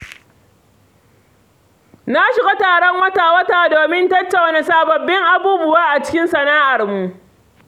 Na shiga taron wata-wata domin tattauna sabbin abubuwa a cikin sana’armu.